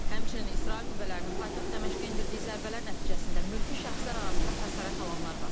Həmçinin İsrail qüvvələrinin paytaxt Dəməşqə endirdiyi zərbələr nəticəsində mülki şəxslər arasında xəsarət alanlar var.